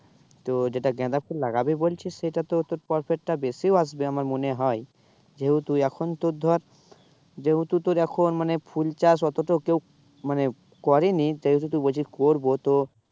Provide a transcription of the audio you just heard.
তো যেটা গাঁদা ফুল লাগাবি বলছিস সেটা তো তোর profit টা বেশিও আসবে আমার মনে হয়। যেহেতু এখন তোর ধর, যেহেতু তোর এখন মানে ফুল চাষ অত তো কেউ মানে করেনি যেহেতু তুই বলছিস করবো তো